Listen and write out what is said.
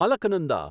Alaknanda